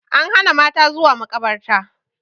An hana mata zuwa makabarta